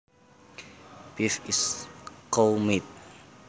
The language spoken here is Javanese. Beef is cow meat